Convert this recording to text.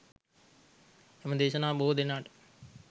එම දේශනාව බොහෝ දෙනාට